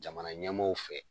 Jamana ɲɛmaaw fɛ.